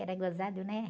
Era gozado, né?